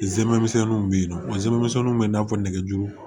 I zɛmɛ misɛnninw be yen nɔ zɛmɛ misɛnninw be yen i n'a fɔ nɛgɛjuru